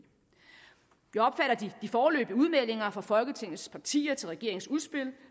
vi foreløbige udmeldinger fra folketingets partier til regeringsudspillet